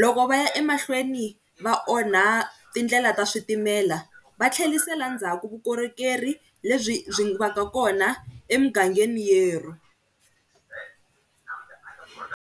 Loko va ya emahlweni va onha tindlela ta switimela, va tlhelisela ndzhaku vukorhokeri lebyi byi va ka kona emugangeni yerhu.